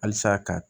Halisa ka